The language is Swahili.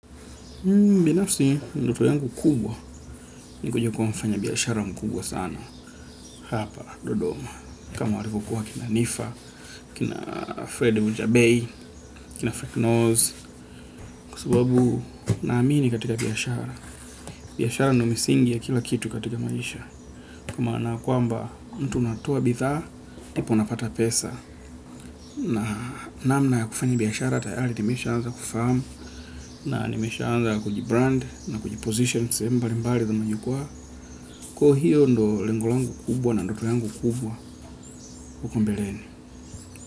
Mbinafsi, ndoto yangu kubwa ni kuja kuwa mfanya biashara mkubwa sana hapa dodoma. Kama walivyo kuwa kina Nifa, kina Fred Ujabei, kina Frank Nose, kwa sababu naamini katika biashara. Biashara ndio misingi ya kila kitu katika maisha. Kama na kuamba, mtu unatoa bidhaa, ndipo unapata pesa. Na namna ya kufanya biashara, tayari nimesha anza kufahamu, na nimesha anza kuji brand, na kuji position, sehemu mbali mbali kwenye jukwa kuwa hiyo ndio lengo langu kubwa na ndoto yangu kubwa uko mbeleni.